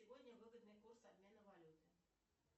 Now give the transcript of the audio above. сегодня выгодный курс обмена валюты